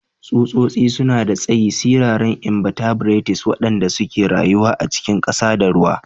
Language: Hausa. Tsutsotsi suna da tsayi, siraran inbatebrates waɗanda ke rayuwa a cikin ƙasa ko ruwa.